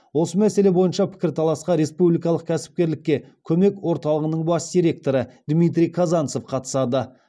осы мәселе бойынша пікірталасқа республикалық кәсіпкерлікке көмек орталығының бас директоры дмитрий казанцев қатысады